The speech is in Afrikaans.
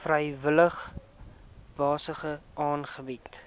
vrywillige basis aangebied